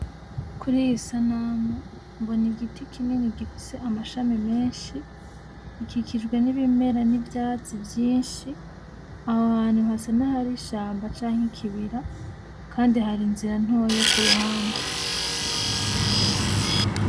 Kuri iyi sanamu, mbona igiti kinini gifise amashami menshi, gikikijwe n'ibimera n'ivyatsi vyinshi, aho hantu hasa nahari ishamba canke ikibira, kandi hari inzira ntoyi yo ku ruhande.